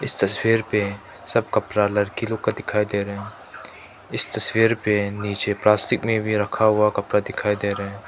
इस तस्वीर पे सब कपड़ा लड़की लोग का दिखाई दे रहे इस तस्वीर पे नीचे प्लास्टिक में भी रखा हुआ कपड़ा दिखाई दे रहे--